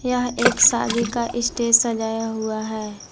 यह एक शादी का स्टेज सजाया हुआ है।